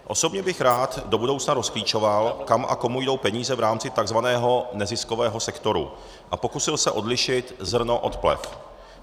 Osobně bych rád do budoucna rozklíčoval, kam a komu jdou peníze v rámci takzvaného neziskového sektoru, a pokusil se odlišit zrno od plev.